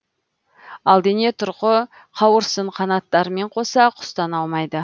ал дене тұрқы қауырсын қанаттарымен қоса құстан аумайды